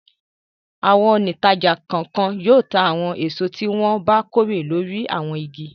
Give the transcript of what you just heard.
Àwọn òǹtajà kọ̀ọ̀kan yóò ta àwọn èso tí wọ́n bá kórè lórí àwọn igi.